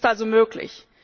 Es ist also möglich.